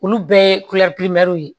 Olu bɛɛ ye ye